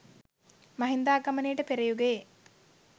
මහින්දාගමනයට පෙර යුගයේ